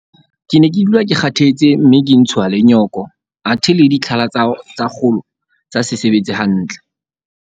Ke ne ke dula ke kgathetse mme ka ntshuwa le nyoko athe le ditlhala tsa kgolo tsa se sebetse hantle.